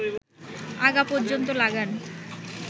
আগা পর্যন্ত লাগান